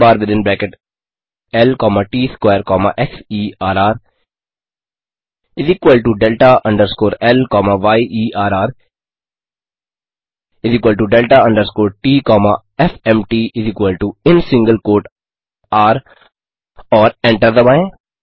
error bar within bracket ल comma T S square comma xerrdelta underscore ल comma yerrdelta underscore ट comma fmtin single quote र और एंटर दबाएँ